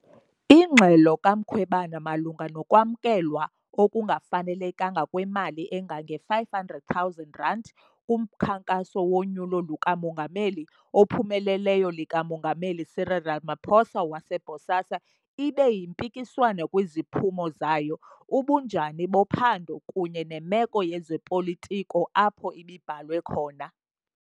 Ingxelo kaMkhwebane malunga nokwamkelwa okungafanelekanga kwemali engange-R500,000 kumkhankaso wonyulo luka-Mongameli ophumeleleyo lika-Mongameli Cyril Ramaphosa wase- BOSASA ibe yimpikiswano kwiziphumo zayo, ubunjani bophando, kunye nemeko yezopolitiko apho ibibhalwe khona.